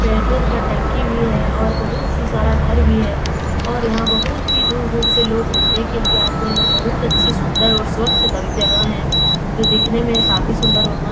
petrol का टंकी भी है और बहुत ही सारा घर भी हैं और यहाँ बहुत ही दूर-दूर से लोग घूमने के लिए आते हैं और बहुत अच्छी सुंदर और स्वच्छ त जगह है जो दिखने में काफी सुंदर और म --